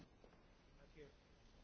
Mulțumesc, domnule președinte.